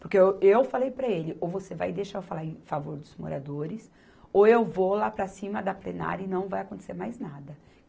Porque eu, eu falei para ele, ou você vai deixar eu falar em favor dos moradores, ou eu vou lá para cima da plenária e não vai acontecer mais nada.